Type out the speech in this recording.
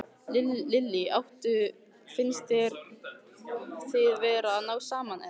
Lillý: Áttu, finnst þér þið vera að ná saman, eða?